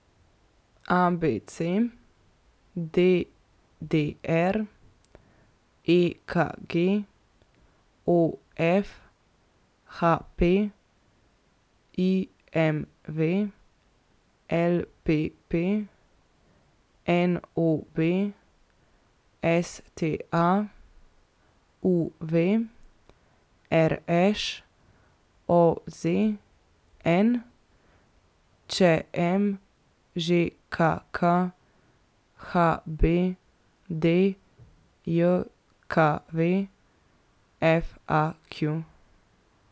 A B C; D D R; E K G; O F; H P; I M V; L P P; N O B; S T A; U V; R Š; O Z N; Č M; Ž K K; H B D J K V; F A Q.